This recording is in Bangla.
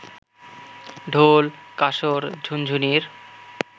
ঢোল, কাসর, ঝুনঝুনির